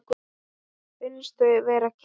Finnst þau vera klisja.